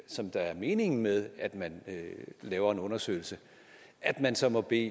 som der er meningen med at man laver en undersøgelse at man så må bede